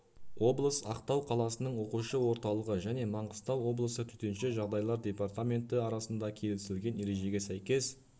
облыс ақтау қаласының оқушы орталығы және маңғыстау облысы төтенше жағдайлар департаменті арасында келісілген ережге сәйкес